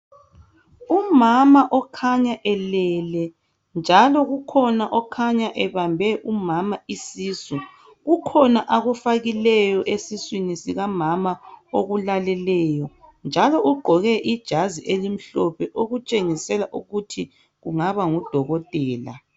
Umama okhanya elele njalo kukhona okhanya ebambe umama isisu. Kukhona akufakileyo esiswini sikamama okulaleleyo njalo ugqoke ijazi elimhlophe okutshengisela ukuthi kungaba ngudokotela.